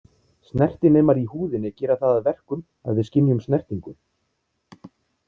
Snertinemar í húðinni gera það að verkum að við skynjum snertingu.